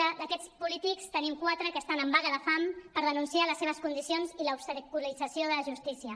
i d’aquests polítics en tenim quatre que estan en vaga de fam per denunciar les seves condicions i l’obstaculització de la justícia